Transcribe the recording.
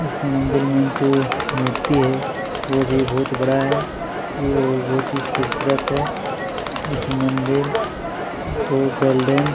इस मंदिर में जो मूर्ति है वो भी बहुत बड़ा है ये और बहोत ही ख़ूबसूरत है इस मंदिर को गोल्डन --